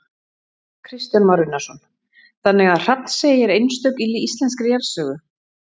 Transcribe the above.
Kristján Már Unnarsson: Þannig að Hrafnsey er einstök í íslenskri jarðsögu?